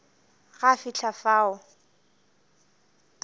ge a fihla fao a